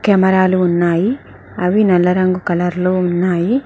కెమెరాలు ఉన్నాయి అవి నల్ల రంగు కలర్ లో ఉన్నాయి.